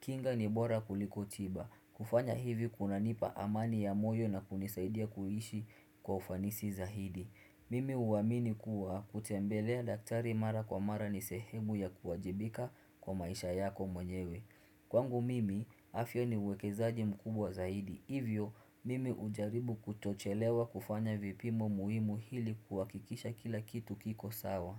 kinga ni bora kuliko tiba. Kufanya hivi kuna nipa amani ya moyo na kunisaidia kuishi kwa ufanisi zaidi. Mimi huamini kuwa kutembelea daktari mara kwa mara ni sehemu ya kuwajibika kwa maisha yako mwenyewe. Kwangu mimi afya ni uwekezaji mkubwa zaidi, hivyo mimi hujaribu kutochelewa kufanya vipimo muhimu ili kuhakikisha kila kitu kiko sawa.